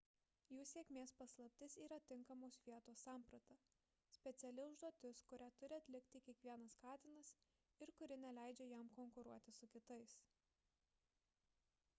jų sėkmės paslaptis yra tinkamos vietos samprata – speciali užduotis kurią turi atlikti kiekvienas katinas ir kuri neleidžia jam konkuruoti su kitais